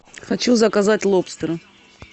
хочу заказать лобстера